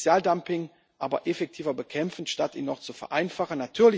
Wir müssen Sozialdumping aber effektiver bekämpfen, statt es noch zu vereinfachen.